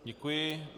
Děkuji.